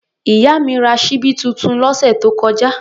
Ìyá mi ra ṣíbí tuntun lọ́sẹ̀ tó kọjá.